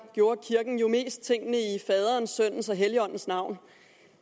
gjorde kirken jo mest tingene i faderens sønnens og helligåndens navn